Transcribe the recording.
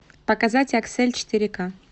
показать аксель четыре к